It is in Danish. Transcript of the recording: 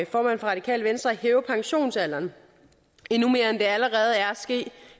for radikale venstre at hæve pensionsalderen endnu mere end det allerede er